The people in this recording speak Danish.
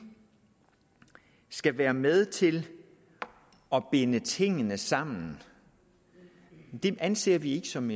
skal være med til at binde tingene sammen det anser vi ikke som